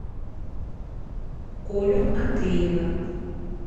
колю андреева